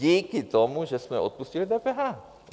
Díky tomu, že jsme odpustili DPH.